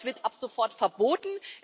Das wird ab sofort verboten.